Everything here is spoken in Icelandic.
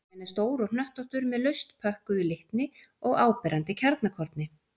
Kjarninn er stór og hnöttóttur með laust pökkuðu litni og áberandi kjarnakorni.